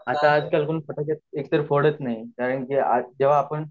तुला काय वाटते त्याबद्दल आपण आत एकाही फटके फोडत नाही